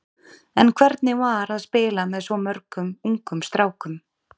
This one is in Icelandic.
En hvernig var að spila með svona mörgum ungum strákum?